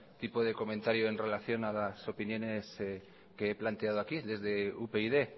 tipo de comentario en relación a las opiniones que he planteado aquí desde upyd